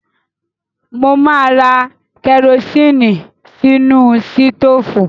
Mo máa ra kẹrosínì sínú sítóófù.